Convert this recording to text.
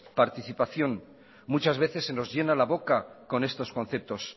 participación muchas veces se nos llena la boca con estos conceptos